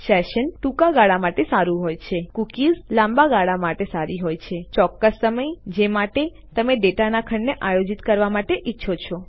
sessions ટૂંકા ગાળા માટે સારું હોય છે કૂકીઝ લાંબા ગાળાના માટે સારી હોય છે ચોક્કસ સમય જે માટે તમે ડેટાના ખંડને આયોજિત કરવા માટે ઈચ્છો છો